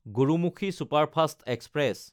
Gurmukhi superfast express